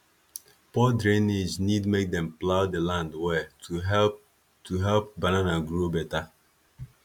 poor drainage need make dem plough the land well to help to help banana grow better